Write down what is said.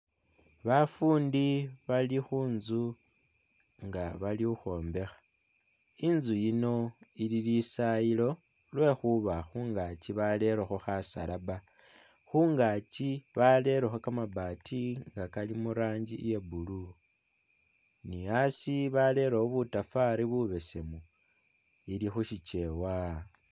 Bafundi balikhunzu nga bali khukhwombekha inzu yino ili lisayilo lwekhuba khungachi barerekho khasalaba khungachi barerekho bamabaati nga Kali mu'ranjii iya blue ni asii barerewo butafali bubesemu ilikhusichewa